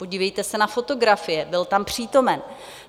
Podívejte se na fotografie, byl tam přítomen.